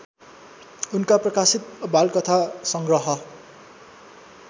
उनका प्रकाशित बालकथासंग्रह